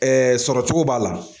sɔrɔ cogo b'a la.